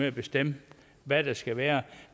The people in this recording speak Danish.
at bestemme hvad der skal være